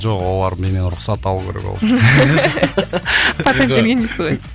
жоқ олар менен рұқсат алу керек ол үшін